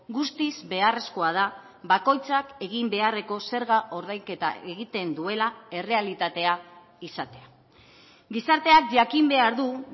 guztiz beharrezkoa da bakoitzak egin beharreko zerga ordainketa egiten duela errealitatea izatea gizarteak jakin behar du